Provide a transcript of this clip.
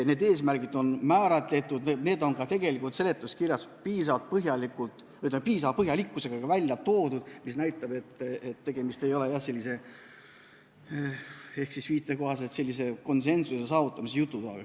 Need eesmärgid on kindlaks määratud, need on ka seletuskirjas piisava põhjalikkusega välja toodud, mis näitab, et tegemist ei ole – teie sõnu kasutades – sellise konsensuse saavutamise jutuga.